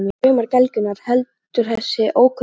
Og allir draumar gelgjunnar, heldur þessi ókunna kona áfram.